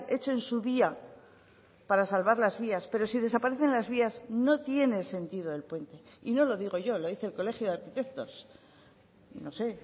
hecho en su día para salvar las vías pero si desaparecen las vías no tiene sentido el puente y no lo digo yo lo dice el colegio de arquitectos no sé